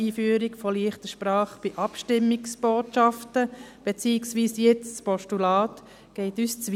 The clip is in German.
«Einführung von ‹leichter Sprache› bei Abstimmungsbotschaften» , beziehungsweise jetzt des Postulats, geht uns zu weit.